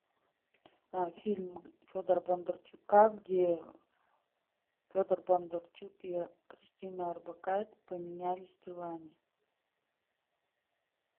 фильм федора бондарчука где федор бондарчук и кристина орбакайте поменялись телами